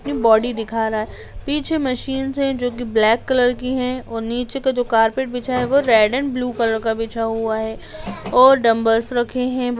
ये बॉडी दिखा रहा है पीछे मशीन्स है जो की ब्लेक कलर की है और नीचे का जो कार्पेट बिछा है वो रेड़ एंड ब्लू कलर का बिछा हुआ है और डंबल्स रखे हैं।